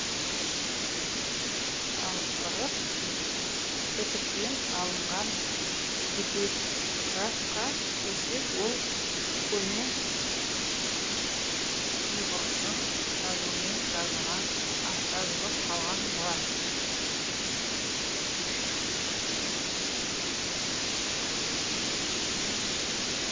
ал ырық бітіктен алынған эпиграфқа келсек ол көне ұйғыржың жазуымен жазылып қалған мұра